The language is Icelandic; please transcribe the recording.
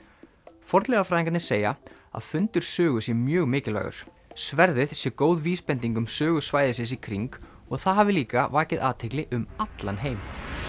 fornleifafræðingarnir segja að fundur Sögu sé mjög mikilvægur sverðið sé góð vísbending um sögu svæðisins í kring og það hafi líka vakið athygli um allan heim